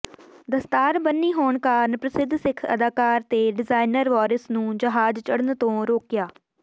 ਦਸਤਾਰ ਬੰਨੀ ਹੋਣ ਕਾਰਨ ਪ੍ਰਸਿੱਧ ਸਿੱਖ ਅਦਾਕਾਰ ਤੇ ਡਿਜਾਈਨਰ ਵਾਰਿਸ ਨੂੰ ਜਹਾਜ ਚੜਨ ਤੋਂ ਰੋਕਿਆ